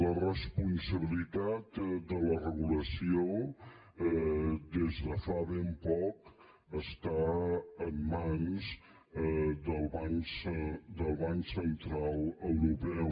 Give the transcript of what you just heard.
la responsabilitat de la regulació des de fa ben poc està en mans del banc central europeu